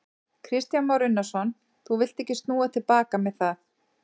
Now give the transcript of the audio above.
Kristján Már Unnarsson: Þú villt ekki snúa til baka með það?